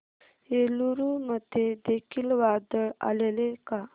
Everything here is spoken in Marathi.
एलुरू मध्ये देखील वादळ आलेले का